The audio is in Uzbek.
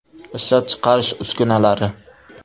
Ishlab chiqarish uskunalari.